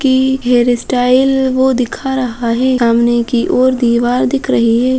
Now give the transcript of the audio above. की hairstyle वो दिखा रहा है। सामने की ओर दीवार दिख रही है।